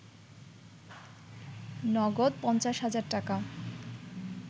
নগদ ৫০ হাজার টাকা